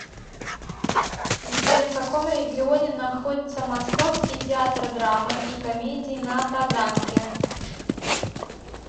сбер в каком регионе находится московский театр драмы и комедии на таганке